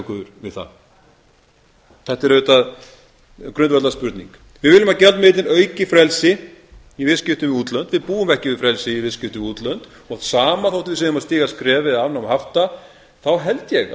okkur við það þetta er auðvitað grundvallarspurning við viljum að gjaldmiðillinn auki frelsi í viðskiptum við útlönd við búum ekki við frelsi í viðskiptum við útlönd það sama þótt við séum að stíga skref eða afnám hafta þá held ég